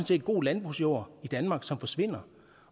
set god landbrugsjord i danmark som forsvinder